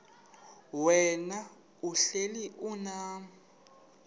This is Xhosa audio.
wena uhlel unam